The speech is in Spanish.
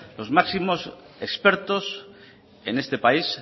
los máximos expertos en este país